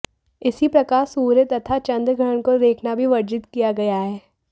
इसी प्रकार सूर्य तथा चन्द्रग्रहण को देखना भी वर्जित किया गया है